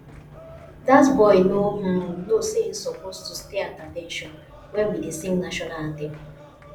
dat boy no um know say he suppose to stay at at ten tion wen we dey sing national anthem